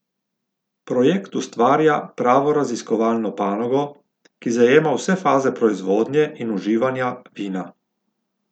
Projekt ustvarja pravo raziskovalno panogo, ki zajema vse faze proizvodnje in uživanja vina.